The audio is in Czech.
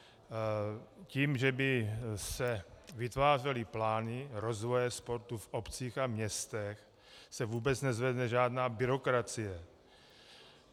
Tím, že by se vytvářely plány rozvoje sportu v obcích a městech, se vůbec nezvedne žádná byrokracie.